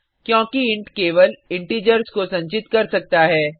क्योंकि इंट केवल इंटिजर्स को संचित कर सकता है